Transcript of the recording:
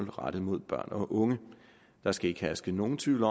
er rettet mod børn og unge der skal ikke herske nogen tvivl